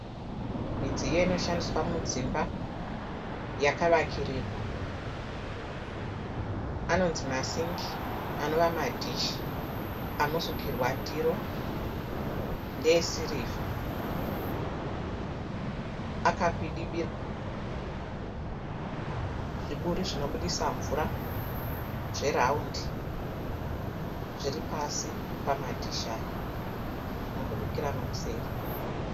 Midziyo inoshandiswa mudzimba yakavakirirwa. Anonzi masingi anova madhishi anosukirwa ndiro ndeesirivha akakwidibirwa. Zviburi zvinobudisa mvura zveraundi zviri pasi pamadhishi aya. Zvinobudikira nokuseri.